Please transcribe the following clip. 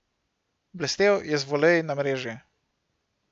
Blestel je z voleji na mreži.